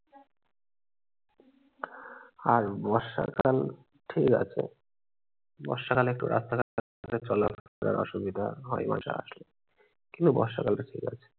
আর বর্ষাকাল ঠিক আছে। বর্ষাকালে একটু রাস্তাঘাটে চলাচলের অসুবিধা হয় কিন্তু বর্ষাকাল টা ঠিক আছে।